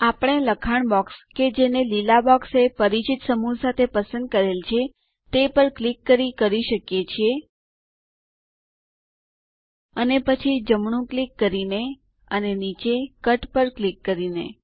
આપણે લખાણ બોક્સ કે જેને લીલા બોક્સ એ પરિચિત સમૂહ સાથે પસંદ કરેલ છે તે પર ક્લિક કરી કરી શકો છો અને પછી જમણું ક્લિક કરીને અને નીચે કટ પર ક્લિક કરીને